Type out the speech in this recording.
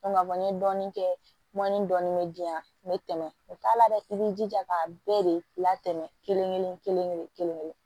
k'a fɔ n ye dɔɔnin kɛ mɔni dɔɔni bɛ diyan n bɛ tɛmɛ o t'a la dɛ i b'i jija k'a bɛɛ de latɛmɛ kelen kelen kelen kelen